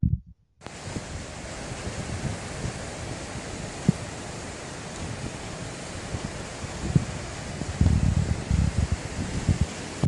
Duok penjo mar minwa ewi oboke mar chenro tedo mar Asha.